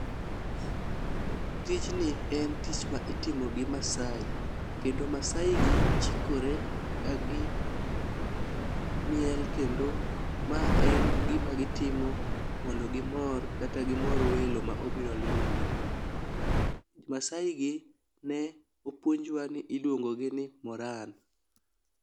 Tijni en tich ma itimo gi masai kendo masai gi chikore ka gi miel kendo ma en gima gitimo mondo gimor kata gimor welo ma obiro limo gi. Masai gi ne opuonjwa ni iluongo gi ni Moran .